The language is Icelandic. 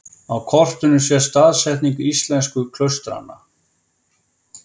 Á kortinu sést staðsetning íslensku klaustranna.